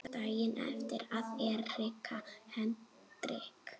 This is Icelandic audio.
Daginn eftir að Erika Hendrik